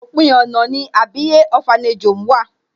Òpin ọ̀nà ni Àbíyè Orphanage home wà.